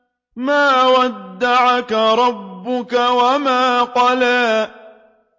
مَا وَدَّعَكَ رَبُّكَ وَمَا قَلَىٰ